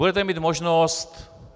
Budete mít možnost...